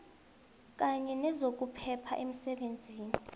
kanye nezokuphepha emsebenzini